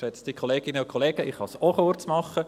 Ich kann es auch kurz machen.